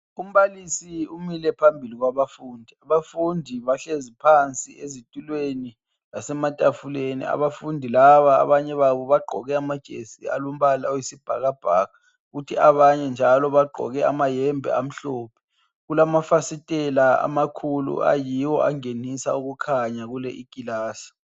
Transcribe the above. Umbalisi umile phambili kwabafundi. Abafundi bahlezi phansi ezitulweni lasematafuleni. Abafundi laba abanye babo bagqoke amajesi alombala oyisibhakabhaka kuthi abanye njalo bagqoke amahembe amhlophe. Kulamafasitela amakhulu ayiwo angenisa ukukhanya kule ikilasi.